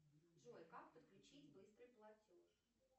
джой как подключить быстрый платеж